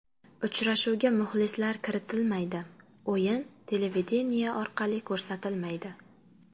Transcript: Uchrashuvga muxlislar kiritilmaydi, o‘yin televideniye orqali ko‘rsatilmaydi.